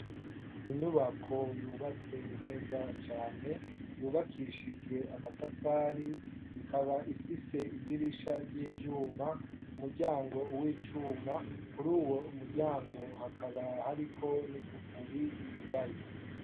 inyubako yubatse neza cyane yubakishijwe amatafari ikaba ifise idirisha ry'ivyuma umuryango w'icuma kuri uwo muryango hakaba hariko nigufuri yugaye